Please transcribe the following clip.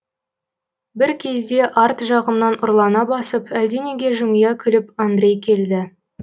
бір кезде арт жағымнан ұрлана басып әлденеге жымия күліп андрей келді